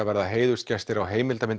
verða heiðursgestir á